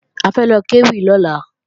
A fẹ́ lọ kéwì lọ́la